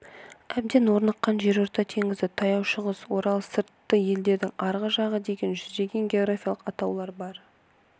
әбден орныққан жерорта теңізі таяу шығыс орал сырты еділдің арғы жағы деген жүздеген географиялық атаулар бар